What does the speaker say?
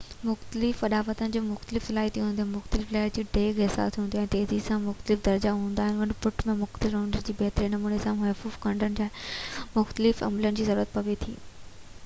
مختلف اڏاوتن جون مختلف صلاحيتون هونديون آهن مختلف لهر جي ڊيگهہ حساس هونديو آهن ۽ تيزي جا مختلف درجا هوندا آهن ان پٽ ۽ مختلف نمبرن جو بهتر نموني سان مفهوم ڪڍڻ لاءِ مختلف عملن جي ضرورت پوي ٿي